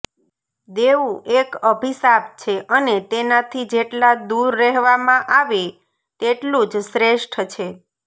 દેવું એક અભિશાપ છે અને તેનાથી જેટલા દૂર રહેવામાં આવે તેટલું જ શ્રેષ્ઠ છે